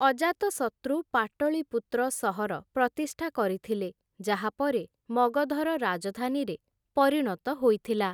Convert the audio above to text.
ଅଜାତଶତ୍ରୁ ପାଟଳିପୁତ୍ର ସହର ପ୍ରତିଷ୍ଠା କରିଥିଲେ ଯାହା ପରେ ମଗଧର ରାଜଧାନୀରେ ପରିଣତ ହୋଇଥିଲା ।